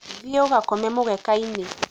thiĩ ũgakome mũgeka inĩ